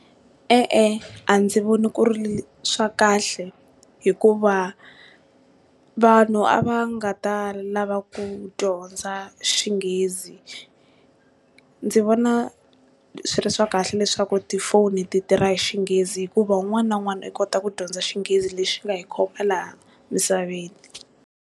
E-e, a ndzi voni ku ri swa kahle hikuva vanhu a va nga ta lava ku dyondza Xinghezi ndzi vona swi ri swa kahle leswaku tifoni ti tirha hi Xinghezi hikuva wun'wana na wun'wana u kota ku dyondza Xinghezi lexi xi nga hi khoma laha misaveni.